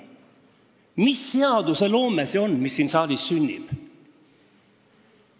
Mis seadusloome see on, mis siin saalis sünnib?